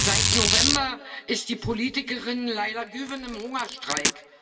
Seit November ist die Politikerin Leyla Güven im Hungerstreik.